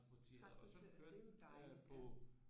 Transporteret det er jo dejligt ja